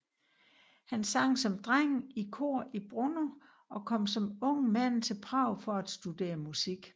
Han sang som dreng i kor i Brno og kom som ung mand til Prag for at studere musik